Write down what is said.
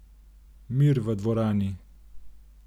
Mir v dvorani!